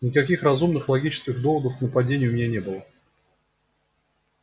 никаких разумных логических доводов к нападению у меня не было